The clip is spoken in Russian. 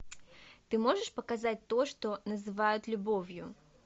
ты можешь показать то что называют любовью